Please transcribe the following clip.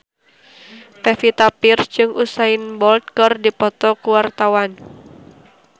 Pevita Pearce jeung Usain Bolt keur dipoto ku wartawan